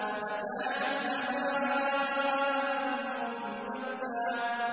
فَكَانَتْ هَبَاءً مُّنبَثًّا